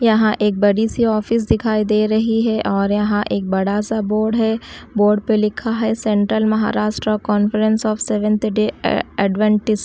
यहां एक बड़ी सी ऑफिस दिखाई दे रही है और यहां एक बड़ा सा बोर्ड है। बॉर्ड पर लिखा है central Maharashtra conference of seventh day adventist.